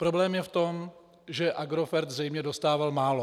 Problém je v tom, že Agrofert zřejmě dostával málo.